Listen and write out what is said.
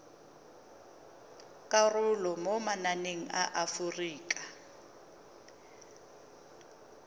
karolo mo mananeng a aforika